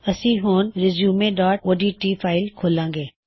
ਅਸੀ ਹੁਣ resume dot O D ਟੀresumeਓਡਟ ਫਾਇਲ ਖੋੱਲ੍ਹਾੰ ਗੇ